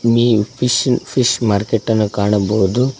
ಮೀನ್ fish fish market ನ್ನು ಕಾಣಬಹುದು.